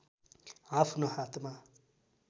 आफ्नो हातमा